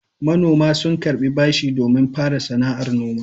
Manoma sun karɓi bashi domin fara sana'ar noma.